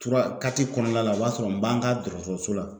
kɔnɔna la o b'a sɔrɔ n b'an ka dɔgɔtɔrɔso la